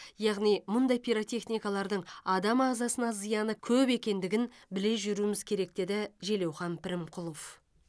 яғни мұндай пиротехникалардың адам ағзасына зияны көп екендігін біле жүруіміз керек деді желеухан пірімқұлов